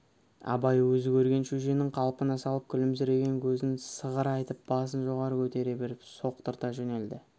абай өзі көрген шөженің қалпына салып күлімсіреген көзін сығырайтып басын жоғары көтере беріп соқтырта жөнелді